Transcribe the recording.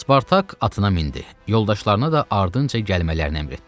Spartak atına mindi, yoldaşlarına da ardınca gəlmələrini əmr etdi.